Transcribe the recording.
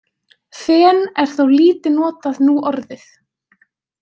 Fen er þó lítið notað núorðið.